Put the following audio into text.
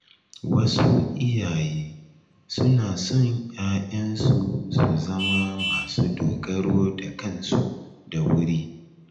Wasu iyaye suna son ‘ya’yansu su zama masu dogaro da kansu da wuri.